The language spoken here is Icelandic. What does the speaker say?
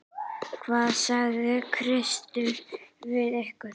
Hvað sagði Kristur við ykkur?